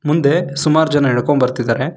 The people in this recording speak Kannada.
ಮುಂದೆ ಸುಮಾರ್ ಜನ ನಡ್ಕೊಂಡ್ ಬರ್ತಿದ್ದಾರೆ.